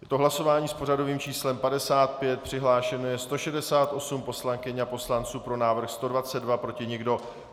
Je to hlasování s pořadovým číslem 55, přihlášeno je 168 poslankyň a poslanců, pro návrh 122, proti nikdo.